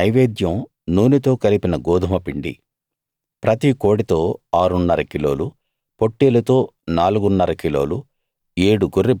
వాటి నైవేద్యం నూనెతో కలిపిన గోదుమపిండి ప్రతి కోడెతో ఆరున్నర కిలోలు పొట్టేలుతో నాలుగున్నర కిలోలు